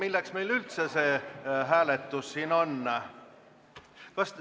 Milleks meil üldse see hääletus siin on?